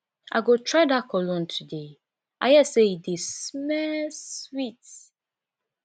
i go try dat cologne today i hear say e dey smell sweet